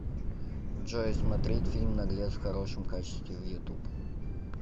джой смотреть фильм наглец в хорошем качестве в ютуб